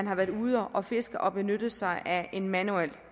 har været ude at fiske og har benyttet sig af en manuel